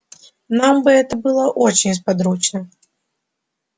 нам бы это было очень сподручно